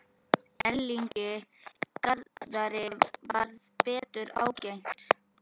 Erlingi Garðari varð betur ágengt.